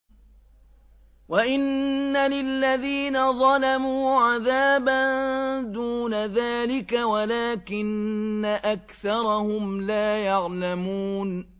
وَإِنَّ لِلَّذِينَ ظَلَمُوا عَذَابًا دُونَ ذَٰلِكَ وَلَٰكِنَّ أَكْثَرَهُمْ لَا يَعْلَمُونَ